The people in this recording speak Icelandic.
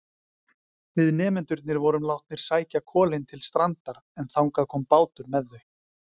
Við nemendurnir vorum látnir sækja kolin til strandar en þangað kom bátur með þau.